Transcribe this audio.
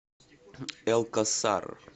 элкосар